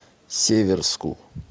северску